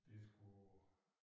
Det skulle